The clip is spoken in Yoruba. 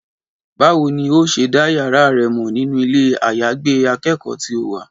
Báwo ni n óò ṣe dá yàrá rẹ mọ̀ nínú ilé-àyágbé akẹ́kọ̀ọ́ tí o wà?